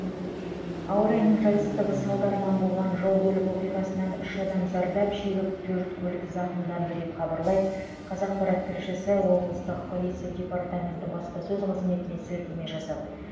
ауа райының жайсыздығы салдарынан болған жол көлік оқиғасынан үш адам зардап шегіп төрт көлік зақымданды деп хабарлайды қазақпарат тілшісі облыстық полиция департаменті баспасөз қызметіне сілтеме жасап